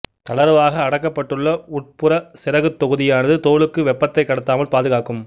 தளர்வாக அடக்கப்பட்டுள்ள உட்புற சிறகுத் தொகுதியானது தோலுக்கு வெப்பத்தைக் கடத்தாமல் பாதுகாக்கும்